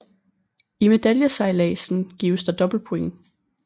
I medaljesejladsen gives der dobbelt points